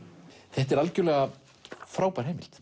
þetta er algjörlega frábær heimild